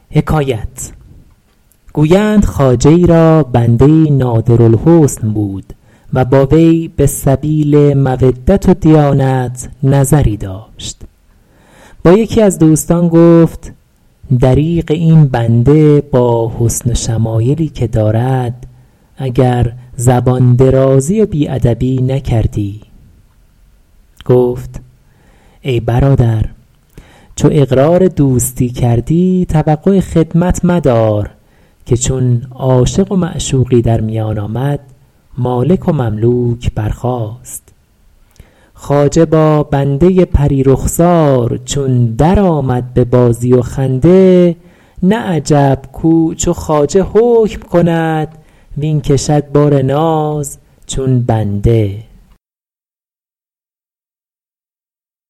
گویند خواجه ای را بنده ای نادر الحسن بود و با وی به سبیل مودت و دیانت نظری داشت با یکی از دوستان گفت دریغ این بنده با حسن و شمایلی که دارد اگر زبان درازی و بی ادبی نکردی گفت ای برادر چو اقرار دوستی کردی توقع خدمت مدار که چون عاشق و معشوقی در میان آمد مالک و مملوک برخاست خواجه با بنده پری رخسار چون در آمد به بازی و خنده نه عجب کاو چو خواجه حکم کند واین کشد بار ناز چون بنده